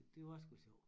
Det var sgu sjov